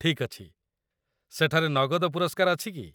ଠିକ୍ ଅଛି, ସେଠାରେ ନଗଦ ପୁରସ୍କାର ଅଛି କି?